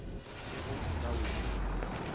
ge go se na wili